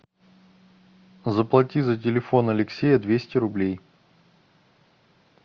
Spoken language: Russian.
заплати за телефон алексея двести рублей